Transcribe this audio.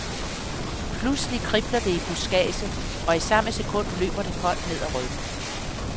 Pludselig kribler det i budskadset, og i samme sekund løber det koldt ned ad ryggen.